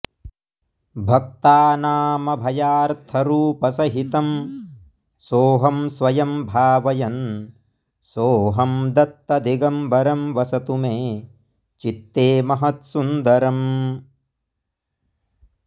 भक्तानामभयार्थरूपसहितं सोऽहं स्वयं भावयन् सोऽहं दत्तदिगम्बरं वसतु मे चित्ते महत्सुन्दरम्